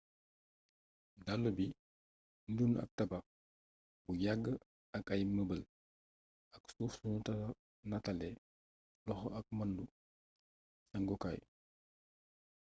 dallu bi niru na ak tabax bu yàgg ak ay mëbal, ak suuf sunu nataalee loxo ak mbàndu sàngukaay